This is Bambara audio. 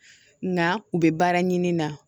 Nka u bɛ baara ɲini na